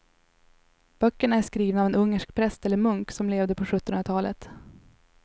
Böckerna är skrivna av en ungersk präst eller munk som levde på sjuttonhundratalet.